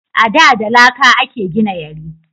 A da da laƙa a ke gina yari